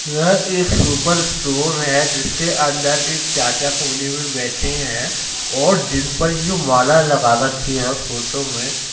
यह एक super store है जिसके अंदर एक चाचा कोने में बैठे हैं और जिन पर ये माला लगा रखी है फोटो में --